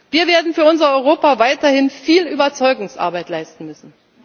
Wir werden für unser Europa weiterhin viel Überzeugungsarbeit leisten